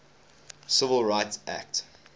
civil rights act